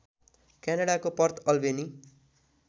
क्यानडाको Port Alberni